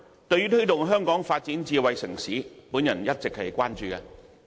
對於推動香港發展智能城市，我一直關注。